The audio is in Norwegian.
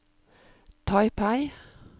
Taipei